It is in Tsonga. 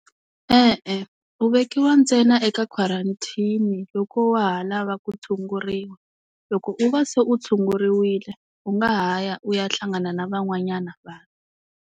E-e u vekiwa ntsena eka quarantine loko wa ha lava ku tshunguriwa, loko u va se u tshunguriwile u nga ha ya u ya hlangana na van'wanyana vanhu.